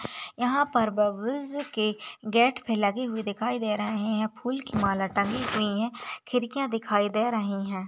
यहा पर बुब्ब्लेस के गेट पे लगे हुऐ दिखाई दे रहे है फूल की माला टगी हुई है खिड़कियां दिखाई दे रही है।